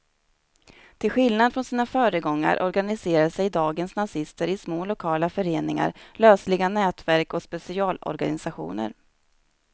Till skillnad från sina föregångare organiserar sig dagens nazister i små lokala föreningar, lösliga nätverk och specialorganisationer.